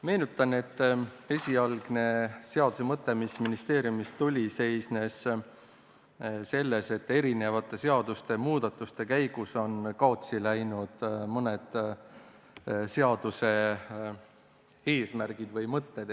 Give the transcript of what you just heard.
Meenutan, et ministeeriumist tulnud seaduse esialgne mõte seisnes selles, et eri seaduste muudatuste käigus on kaotsi läinud mõned seaduse eesmärgid või mõtted.